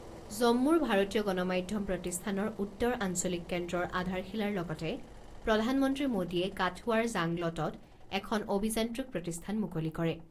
জম্মুৰ ভাৰতীয় গণমাধ্যম প্ৰতিষ্ঠানৰ উত্তৰ আঞ্চলিক কেন্দ্ৰৰ আধাৰশিলাৰ লগতে প্ৰধানমন্ত্ৰী মোডীয়ে কাথুৱাৰ জাংলটত এখন অভিযান্ত্ৰিক প্ৰতিষ্ঠান মুকলি কৰে।